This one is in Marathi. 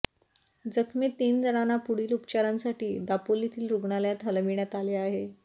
जखमी तीन जणांना पुढील उपचारासाठी दापोलीतील रुग्णालयात हलविण्यात आले आहे